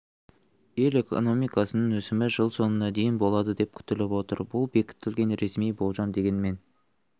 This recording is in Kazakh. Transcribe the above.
ел экономикасының өсімі жыл соңына дейін болады деп күтіліп отыр бұл бекітілген ресми болжам дегенмен